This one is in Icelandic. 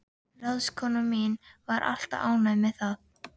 Ráðskonan mín var alltaf ánægð með það.